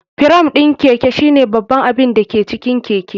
Firam ɗin Keke shine babban abin da ke cikin keke.